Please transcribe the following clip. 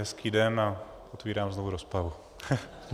Hezký den a otevírám znovu rozpravu.